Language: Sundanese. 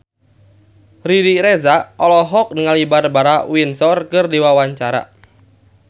Riri Reza olohok ningali Barbara Windsor keur diwawancara